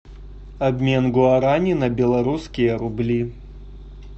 обмен гуарани на белорусские рубли